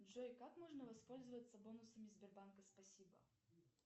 джой как можно воспользоваться бонусами сбербанка спасибо